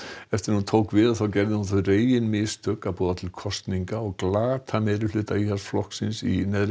hún gerði þau reginmistök að boða til kosninga og glata meirihluta Íhaldsflokksins í neðri